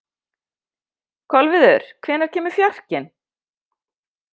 Kolviður, hvenær kemur fjarkinn?